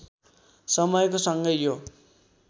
समयको सँगै यो